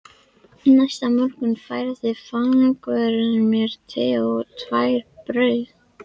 Næsta morgun færði fangavörður mér te og tvær brauð